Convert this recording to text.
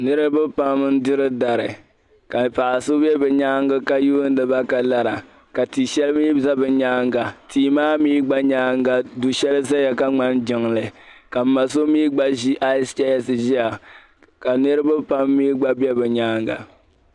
niriba pam n-diri dari ka paɣiri so be bɛ nyaanga ka yuundi ba ka lara ka ti'shɛli mii za bɛ nyaanga tia gba nyaanga du'shɛli zeya ka ŋmani jiŋli ka m ma so mii gba ʒi aaiyisicheesi ʒiya ka niriba pam mii gba be bɛ nyaanga